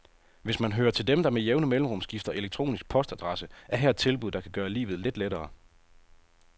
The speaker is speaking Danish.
Hvis man hører til dem, der med jævne mellemrum skifter elektronisk postadresse, er her et tilbud, der kan gøre livet lidt lettere.